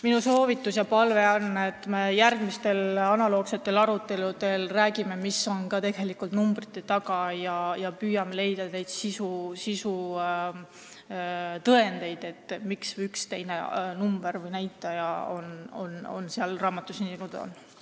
Minu soovitus ja palve on, et me järgmistel analoogsetel aruteludel räägiksime sellest, mis on tegelikult numbrite taga, ja püüaksime leida sisutõendeid, miks üks või teine number või näitaja on seal raamatus selline, nagu ta on.